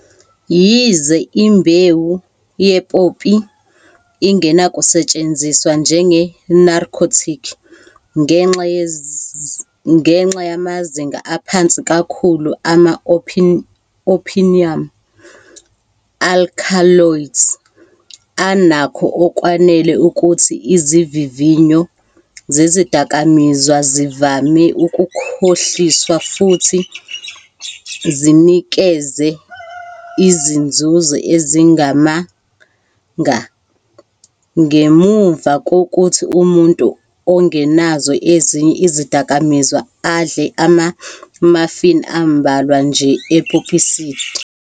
Yize imbewu ye-poppy ingenakusetshenziswa njenge- narcotic ngenxa yamazinga aphansi kakhulu ama-opium alkaloids, anakho okwanele ukuthi izivivinyo zezidakamizwa zivame ukukhohliswa futhi zinikeze izinzuzo ezingamanga ngemuva kokuthi umuntu ongenazo ezinye izidakamizwa adle ama-muffin ambalwa nje e-poppyseed.